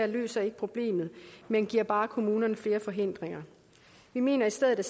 løser ikke problemet men giver bare kommunerne flere forhindringer vi mener at staten